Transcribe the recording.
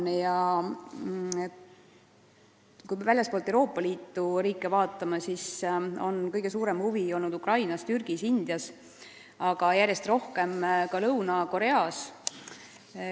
Kui nimetada maid väljastpoolt Euroopa Liitu, siis on kõige suurem huvi olnud Ukrainas, Türgis ja Indias, aga järjest rohkem ka Lõuna-Koreas.